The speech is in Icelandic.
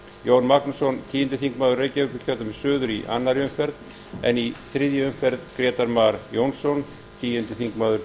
jón magnússon tíu þingmaður reykjavíkurkjördæmis suður í annarri umferð en í þriðju umferð grétar mar jónsson tíu